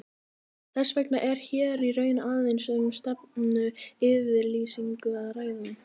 Þess vegna er hér í raun aðeins um stefnuyfirlýsingu að ræða.